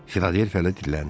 Filadelfiyalı dilləndi.